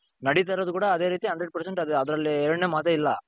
ನಡೀತಾ ಇರೋದು ಕೂಡಾ ಅದೇ ರೀತಿ hundred percent ಅದರಲ್ಲಿ ಎರಡನೇ ಮಾತೆ ಇಲ್ಲ .